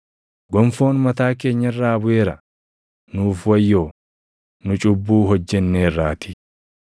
Gonfoon mataa keenya irraa buʼeera. Nuuf wayyoo; nu cubbuu hojjenneerraatii!